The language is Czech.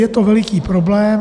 Je to veliký problém.